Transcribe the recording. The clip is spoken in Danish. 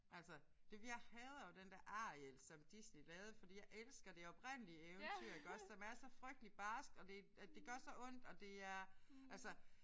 Altså det er jeg hader jo den der Ariel som Disney lavede fordi jeg elsker det oprindelige eventyr iggås som er så frygteligt barsk og det og det gør så ondt og det er altså